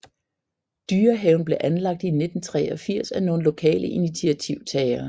Dyrehaven blev anlagt i 1983 af nogle lokale initiativtagere